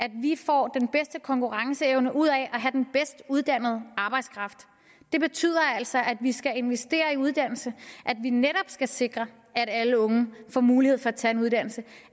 at vi får den bedste konkurrenceevne ud af at have den bedst uddannede arbejdskraft det betyder altså at vi skal investere i uddannelse at vi netop skal sikre at alle unge får mulighed for at tage en uddannelse